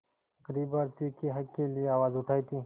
ग़रीब भारतीयों के हक़ के लिए आवाज़ उठाई थी